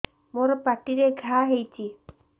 ମୋର ପାଟିରେ ଘା ହେଇଚି